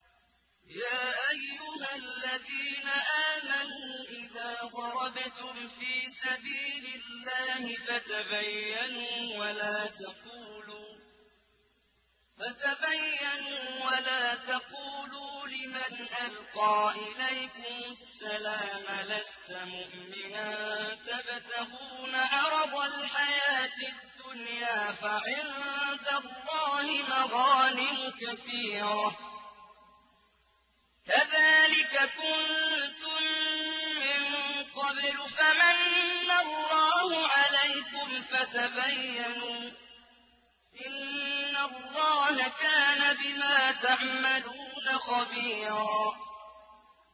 يَا أَيُّهَا الَّذِينَ آمَنُوا إِذَا ضَرَبْتُمْ فِي سَبِيلِ اللَّهِ فَتَبَيَّنُوا وَلَا تَقُولُوا لِمَنْ أَلْقَىٰ إِلَيْكُمُ السَّلَامَ لَسْتَ مُؤْمِنًا تَبْتَغُونَ عَرَضَ الْحَيَاةِ الدُّنْيَا فَعِندَ اللَّهِ مَغَانِمُ كَثِيرَةٌ ۚ كَذَٰلِكَ كُنتُم مِّن قَبْلُ فَمَنَّ اللَّهُ عَلَيْكُمْ فَتَبَيَّنُوا ۚ إِنَّ اللَّهَ كَانَ بِمَا تَعْمَلُونَ خَبِيرًا